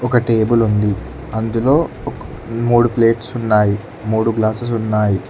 ఒక టేబుల్ ఉంది అందులో ఒక మూడు ప్లేట్స్ ఉన్నాయి మూడు గ్లాసెస్ ఉన్నాయి.